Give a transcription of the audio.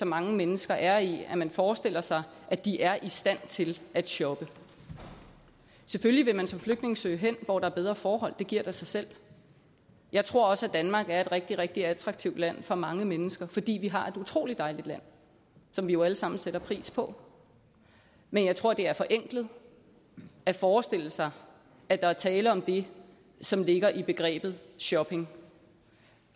mange mennesker er i at man forestiller sig at de er i stand til at shoppe selvfølgelig vil man som flygtning søge hen hvor der er bedre forhold det giver da sig selv jeg tror også at danmark er et rigtig rigtig attraktivt land for mange mennesker fordi vi har et utrolig dejligt land som vi jo alle sammen sætter pris på men jeg tror det er forenklet at forestille sig at der er tale om det som ligger i begrebet shopping